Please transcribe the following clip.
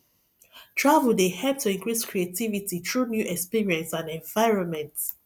travel dey help to increase creativity through new experience and environment